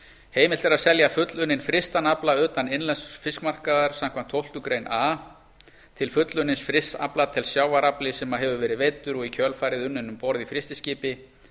heimilt er að selja fullunninn frystan afla utan innlends fiskmarkaðar samkvæmt tólftu greinar a til fullunnins frysts afla telst sjávarafli sem hefur verið veiddur og í kjölfarið unninn um borð í frystiskipi